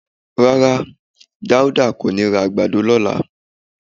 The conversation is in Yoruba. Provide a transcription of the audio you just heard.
Rárá, Dáúdá kò ní ra àgbàdo lọ́la